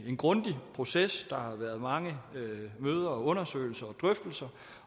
en grundig proces der har været mange møder og undersøgelser og drøftelser